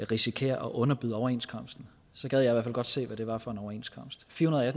risikerer at underbyde overenskomsten så gad jeg i hvert at se hvad det var for en overenskomst firehundrede og